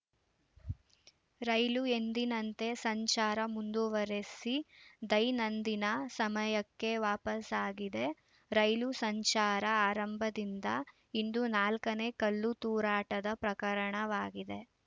ರೈಲು ಎಂದಿನಂತೆ ಸಂಚಾರ ಮುಂದುವರೆಸಿ ದೈನಂದಿನ ಸಮಯಕ್ಕೆ ವಾಪಸಾಗಿದೆ ರೈಲು ಸಂಚಾರ ಆರಂಭದಿಂದ ಇಂದು ನಾಲ್ಕನೇ ಕಲ್ಲು ತೂರಾಟದ ಪ್ರಕರಣವಾಗಿದೆ